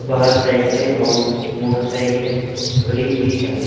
बाहर साइकिले और मोटरसाइकिले खड़ी हुई है।